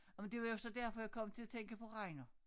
Og det var jo så derfor jeg kom til at tænke på Reino